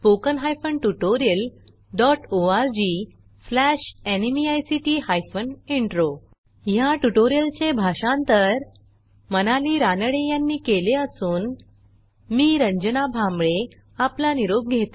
ह्या ट्युटोरियलचे भाषांतर मनाली रानडे यांनी केले असून मी रंजना भांबळे आपला निरोप घेते